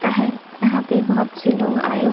का है। यहाँ पे बहुत से लोग आए --